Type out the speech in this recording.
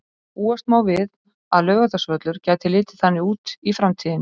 Búast má við að Laugardalsvöllur gæti litið þannig út í framtíðinni.